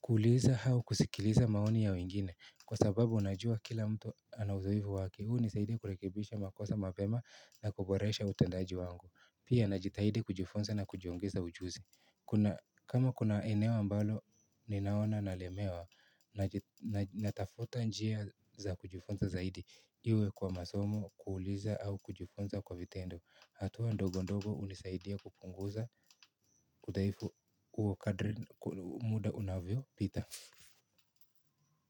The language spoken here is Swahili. kuuliza au kusikiliza maoni ya wengine. Kwa sababu najua kila mtu ana uzoefu wake, hii hunisaidia kurekebisha makosa mapema na kuboresha utendaji wangu. Pia najitahidi kujifunza na kujiongeza ujuzi. Kama kuna eneo ambalo ninaona nalemewa, natafuta njia za kujifunza zaidi. Iwe kwa masomo, kuuliza au kujifunza kwa vitendo. Hatua ndogo ndogo hunisaidia kupunguza udhaifu huo kadri muda unavyo pita.